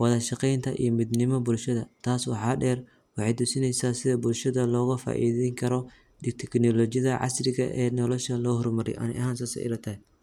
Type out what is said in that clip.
wadashaqeinta iyo midnimada bulshada tasi waxa der waxay tusineysa sidha bulshada looga faideyni karo iyo teknolojiada casriga ah ee nolosha loo hormariyo ani ahan sidas ayay ilatahay.